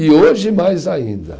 E hoje mais ainda.